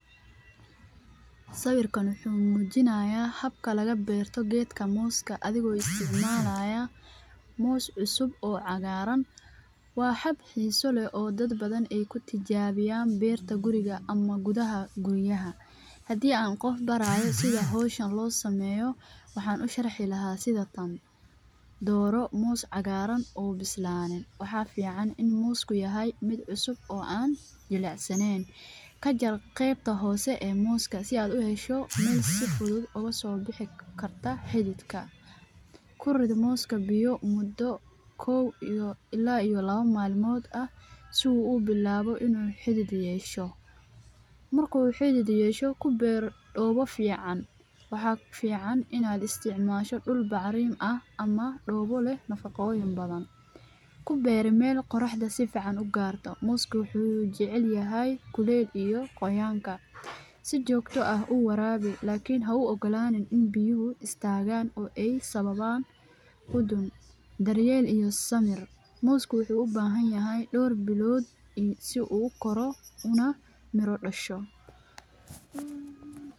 Sawiirkaan wuxuu mujinaaya habka lagu beerto geedka mooska adhiga oo isticmalayo moos cusub oo cagaaran waa hab xiisa leh oo dad badan aay kutijabiyan beerta guriga ama gudaha guryaha hadii aan qof baraayo sida howshan loo sameeyo waxaan usharxi lahaa sida tan dooro moos cagaaran oo soo bixi karo kajar afka hore si uu usoo baxo kubeer meel qorax qabto si joogta ah uwarabiyo ilaa bacraminta diyaar kanoqoto ama geedka sifican loogu abuuri karo hadii aad rabto inaad meel aado waad cuneysa mise wax iskuugu qaban Karin xafadahooda.